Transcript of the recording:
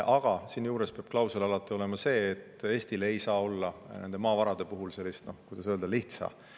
Aga seejuures peab klausel alati olema see, et Eestil ei saa olla nende maavarade puhul sellist – kuidas öelda?